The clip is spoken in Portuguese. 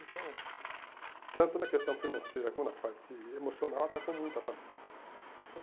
Então, tanto na questão financeira como na parte emocional, atacou muito a família, sabe?